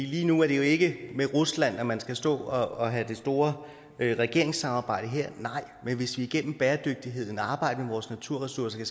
lige nu er det jo ikke med rusland man skal stå og have det store regeringssamarbejde her nej men hvis vi igennem bæredygtigheden arbejder med vores naturressourcer